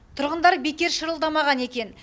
тұрғындар бекер шырылдамаған екен